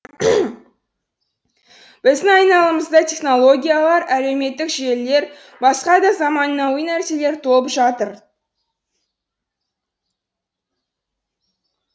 біздің айналамызда технологиялар әлеуметтік желілер басқа да заманауи нәрселер толып жатыр